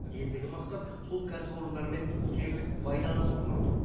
ендігі мақсат сол кәсіпорындармен іскерлік байланыс орнату